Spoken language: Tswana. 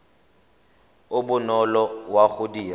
o bonolo wa go dira